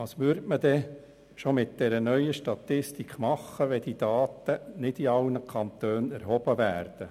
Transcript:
Was würde man denn mit dieser neuen Statistik schon tun, ohne dass diese Daten nicht in allen Kantonen erhoben werden?